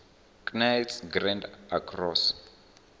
knights grand cross